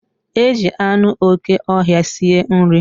Eji anụ okè ọhịa sie nri.